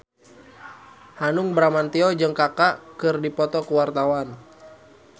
Hanung Bramantyo jeung Kaka keur dipoto ku wartawan